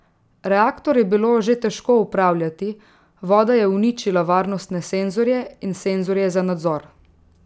Reaktor je bilo že težko upravljati, voda je uničila varnostne senzorje in senzorje za nadzor.